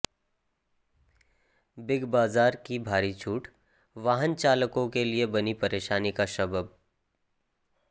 big Bazaar की भारी छूट वाहन चालकों के लिए बनी परेशानी का सबब